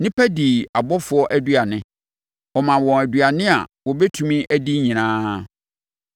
Nnipa dii abɔfoɔ aduane; ɔmaa wɔn aduane a wɔbɛtumi adi nyinaa.